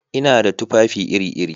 Ina da tufafi iri-iri.